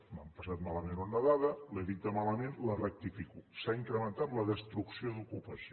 m’han passat malament una dada l’he dita malament la rectifico s’ha incrementat la destrucció d’ocupació